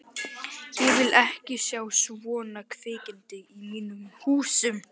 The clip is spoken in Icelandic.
Ég vil ekki sjá svona kvikindi í mínum húsum!